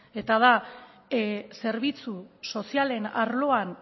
eta da zerbitzu sozialen arloan